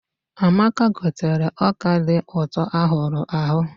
Amaka gotere ọka dị ụtọ a hụrụ ahụ.